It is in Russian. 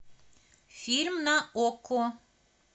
фильм на окко